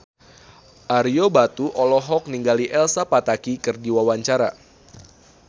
Ario Batu olohok ningali Elsa Pataky keur diwawancara